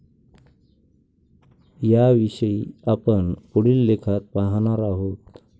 याविषयी आपण पुढील लेखात पाहणार आहोत.